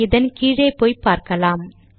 இதன் கீழே போய் பார்க்கலாம்